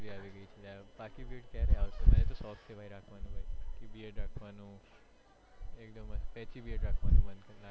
આખી ક્યારે આવશે મને તો શોખ છે ભાઈ રાખવાનું કે beard રાખવાનું એકદમ sexy beard રાખવાનું